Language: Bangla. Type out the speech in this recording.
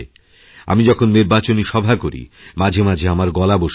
আমি যখননির্বাচনী সভা করি মাঝে মাঝে আমার গলা বসে যায়